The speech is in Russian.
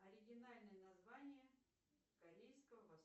оригинальное название корейского